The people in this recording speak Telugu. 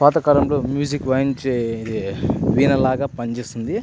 పాతకాలంలో మ్యూజిక్ వాయించే హే వీణ లాగ పని చేస్తుంది.